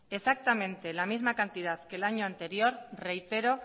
exactamente la misma cantidad que el año anterior reitero